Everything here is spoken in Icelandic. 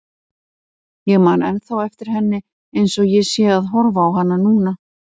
Ég man ennþá eftir henni eins og ég sé að horfa á hana núna.